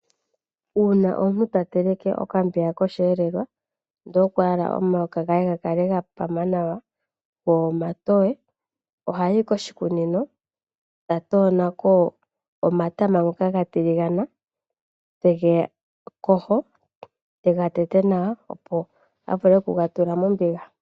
Uuna omuntu ta teleke okambiga kosheelelwa ndele okwa hala omuhoka gwe gwa pama nawa go omatoye ohayi koshikunino eta kola omatama ngoka ga tiligana ete gayogo ,etega tete nawa opo a vule okuga tula mombiga.